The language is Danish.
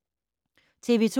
TV 2